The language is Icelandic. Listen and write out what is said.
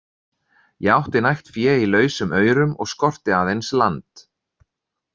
Ég átti nægt fé í lausum aurum og skorti aðeins land.